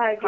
ಹಾಗೆ.